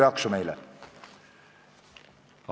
Kohtume homme kell 10 hommikul.